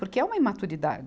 Porque é uma imaturidade.